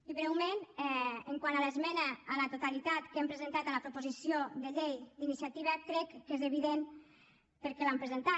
i breument quant a l’esmena a la totalitat que hem presentat a la proposició de llei d’iniciativa crec que és evident per què l’hem presentat